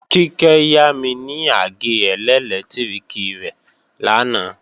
Kíkẹ́ yámi ní àgé ẹlẹ́lẹtiriki rẹ̀ lánàá